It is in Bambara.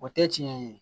O tɛ tiɲɛ ye